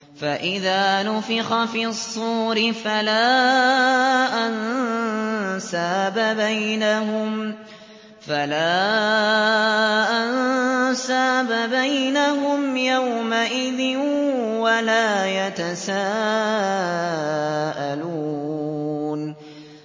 فَإِذَا نُفِخَ فِي الصُّورِ فَلَا أَنسَابَ بَيْنَهُمْ يَوْمَئِذٍ وَلَا يَتَسَاءَلُونَ